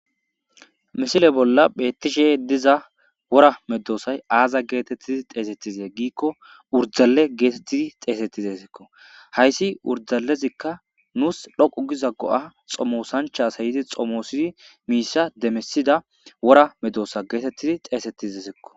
misile bolla bettishe diza wora meddoosay aaza geetettidi xeesettizee giikko urdale geetettidi xeesettizesekko hayssi urdalezikka nuus dhoqu giza go7a xomosancha asayidi xomoosidi miissa demesida wora meddoosa geetettidi xeesettizesekko.